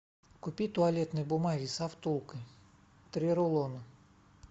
купи туалетной бумаги со втулкой три рулона